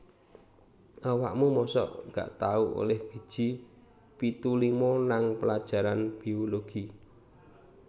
Awakmu mosok gak tau oleh biji pitu lima nang pelajaran biologi?